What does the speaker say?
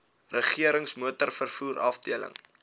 regerings motorvervoer afdeling